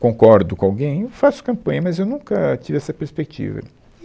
concordo com alguém, eu faço campanha, mas eu nunca tive essa perspectiva.